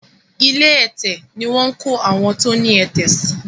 ilé ẹ̀tẹ̀ ní wón kọ àwọn tó ní ẹ̀tẹ̀ sí